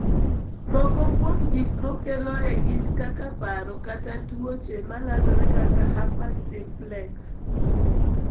Moko kuom gik makeloe gin kaka paro kata tuoche ma landore kaka herpes simplex.